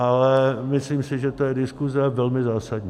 Ale myslím si, že to je diskuse velmi zásadní.